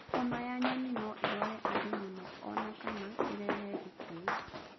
Homa ya nyoni no ĩrwarie andũ mũno o na kana ĩrehe gĩkuũ.